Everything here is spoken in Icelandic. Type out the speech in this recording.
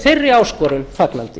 þeirri áskorun fagnandi